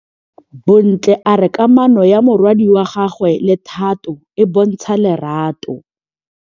Bontle a re kamanô ya morwadi wa gagwe le Thato e bontsha lerato.